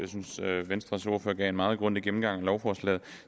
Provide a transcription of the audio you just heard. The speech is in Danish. synes at venstres ordfører gav en meget grundig gennemgang af lovforslaget